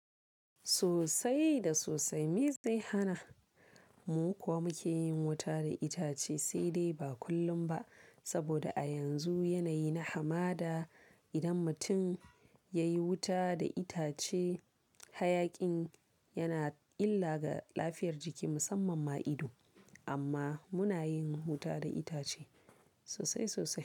Sosai da sosai, me zai hana mu kuwa muke yin wuta da itace, sai dai ba kullum ba. Saboda a yanzu yanayi na hamada idan mutum ya yi wuta da itace, hayaƙin yana illa ga lafiyar jiki, musamman ma ido. Amma muna yin wuta da itace sosai sosai.